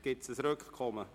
Gibt es ein Rückkommen?